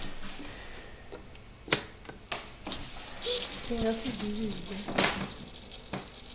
i nga si ḓi vhidze